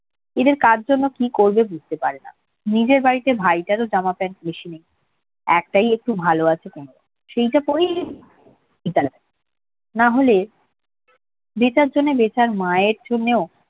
এদের কার জন্য কি করবে বুঝতে পারে না নিজের বাড়িতে ভাইটারও জামা প্যান্ট বেশি নেই একটাই একটু ভালো আছে তেমন। সেইটা পড়েই না হলে বেতার জন্যে বেতার মায়ের জন্যে ও